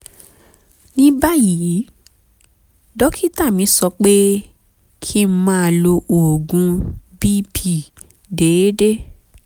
ní báyìí dókítà mi sọ pé kí n máa lo oògùn bp déédéé